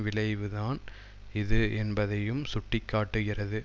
விளைவுதான் இது என்பதையும் சுட்டி காட்டுகிறது